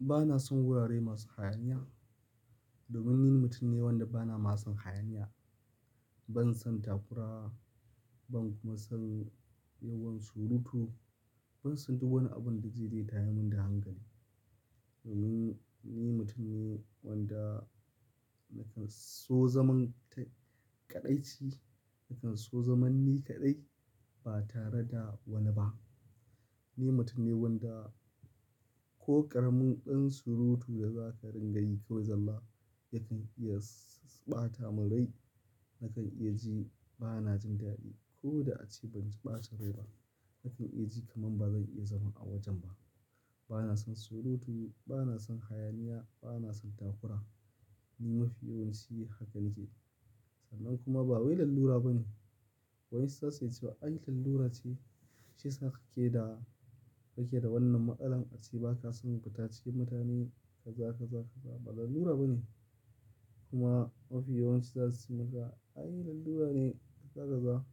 Ba na son wurare masu hayaniya. Domin ni mutum ne wanda ba na masu hayaniya. Ban son takura ban kuma son yawan surutu. Ban so duk wani abun da zai iya tayar mun da hankali. Domin ni mutum ne wanda nakan so zaman kaɗaici, nakan so zaman ni kaɗai ba tare da wani ba. Ni mutum ne wanda ko ƙaramin ɗan surutu da za ka ringa yi kawai zalla yakan iya ɓata mun rai. Nakan iya ji ba na jin dadi ko da ace ban ji ɓacin rai ba. Nakan iya ji kaman ba zan iya zama a wajen ba. Ba na son surutu, ba na son hayaniya, ba na son takura. Ni mafi yawanci haka nike. Sannan kuma ba wai lallura bane. Wa'insu zasu iya ce ai lallura ce, shiyasa ka ke da wannan matsalan ace ba ka son futa cikin mutane kaza kaza kaza kaza. Ba lallura ba ne kuma mafi yawanci za su ce maka ai lallura ne kaza kaza.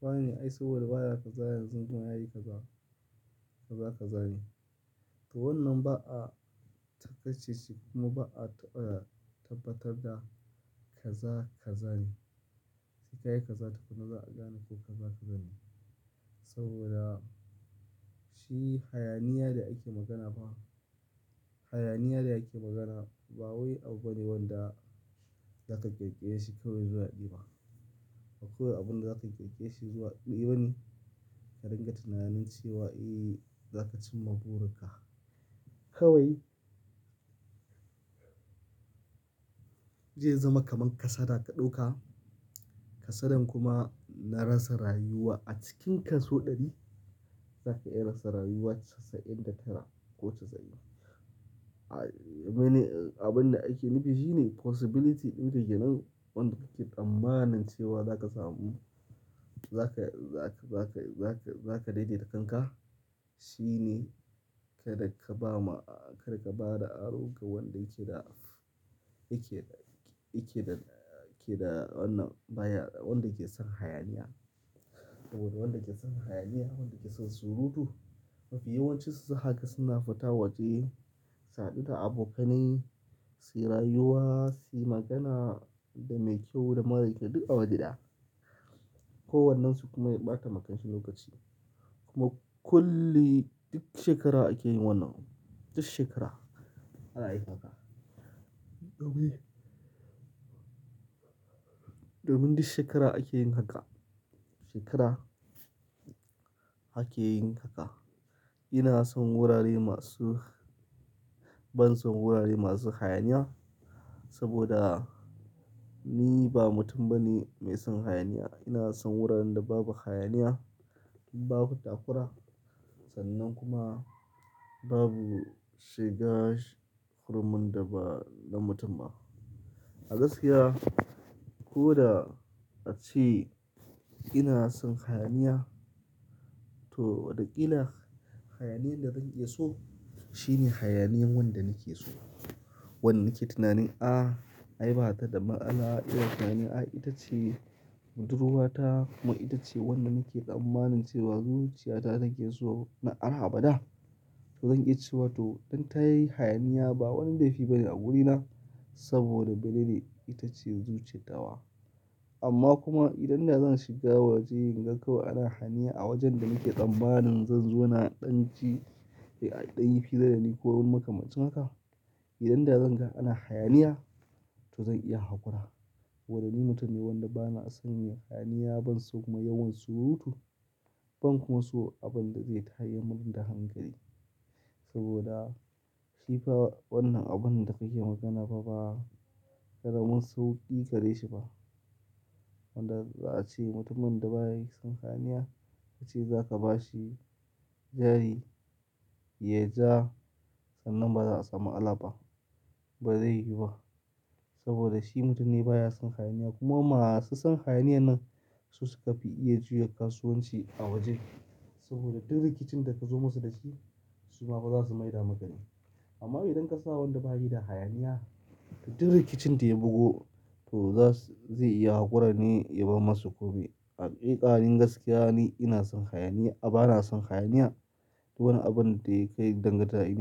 Wa ne ai saboda baya kaza yanzun kuma yayi kaza kaza kaza ne. To wannan ba a ta kace ce kuma ba a taɓa tabbatar da kaza kaza ne. Sai ka yi kaza takunna za'a gane ko kaza kaza ne. Saboda shi hayaniya da ake magana ba, hayaniya da ake magana ba wai abu ne wanda za ka ƙirkire shi kawai zuwa ɗaya ba. Ba kawai abun da za ka ƙirƙire shi zuwa ɗaya bane. Ka ringa tunanin cewa eh za ka cimma burin ka kawai. Zai zama kaman kasada ka ɗauka, kasadan kuma na rasa rayuwa a cikin kaso ɗari. Zaka iya rasa rayuwa casa'in da tara ko casa'in. Abin da ake nufi shine possibility ɗin ka kenan wanda kake tsammanin cewa za ka samu, za ka, za ka, za ka, za ka daidaita kanka. Shi ne kada ka ba ma, kada ka ba da aro ga wanda yake da, yake da, yake da, yake da wannan baya, wanda ke son hayaniya. Saboda wanda ke son hayaniya, wanda ke son surutu mafi yawanci su za haga suna fita waje, su hadu da abokanai, suyi rayuwa, suyi magana da mai kyau da mara kyau duk a waje daya. Ko wannen su kuma ya ɓata ma kanshi lokaci. Kuma kulli duk shekara ake yin wannan, duk shekara. Za'a yi haka. Domin duk shekara ake yin haka. Shekara ake yin haka. Ina son wurare masu ban son wurare masu hayaniya saboda ni ba mutum bane mai son hayaniya. Ina son wuraren da babu hayaniya, babu takura sannan kuma babu shiga hurumun da ba na mutum ba. A gaskiya ko da ace ina son hayaniya to watakila hayaniyan da zan iya so shine hayaniyan wanda nake so. Wanda nake tunanin ah ai bata da matsala ina tunanin ai ita ce budurwa ta kuma ita ce wanda nake tsammanin cewa zuciyata take so na har bada. To zan iya cewa to idan ta yi hayaniya ba wani laifi bane a gurina saboda mene ne ita ce zuciyat tawa. Amma kuma idan da zan shiga waje in ga kawai ana hayaniya a wajen da nake tsammanin zan zauna in ɗan ji, a ɗan yi fira dani ko makamancin haka. Idan da zan ga ana hayaniya to zan iya haƙura. Saboda ni mutun ne wanɗa bana son yin hayaniya ban son kuma yawan surutu. Ban kuma so abun da zai tayammun da hankali. Saboda shi fa wannan abun da kake magana fa ba ƙaramin sauƙi gareshi ba. Wanda za'a ce mutumin da baya son hayaniya ka ce za ka bashi jari ya ja sannan ba za a samu matsala ba. Ba zai yi ba saboda shi mutum ne baya son hayaniya kuma masu son hayaniya nan su su ka fi iya juya kasuwanci a waje. Saboda duk rikicin da ka zo musu da shi su ma ba za su maida maka ne. Amma idan ka sa wanda bayi da hayaniya, duk rikicin da ya bugu to za su, zai iya haƙura ne ya bar masu komi. Hakika ni gaskiya ni ina son hayaniya a, ba na son hayaniya. Duk wani abun da ya kai danganta ni.